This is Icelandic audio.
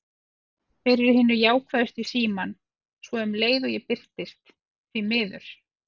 Þeir eru hinir jákvæðustu í símann, svo um leið og ég birtist: því miður.